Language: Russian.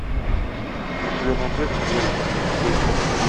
у тебя найдется лента ищейка